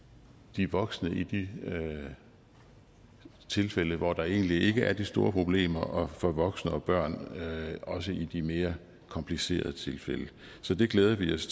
de voksne i de tilfælde hvor der egentlig ikke er de store problemer og for voksne og børn også i de mere komplicerede tilfælde så det glæder vi os